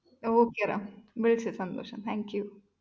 okay Ram വിളിച്ചതിൽ സന്തോഷം thank you